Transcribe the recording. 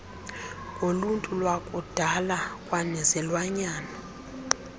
ngoluntu lwakudala kwanezilwanyana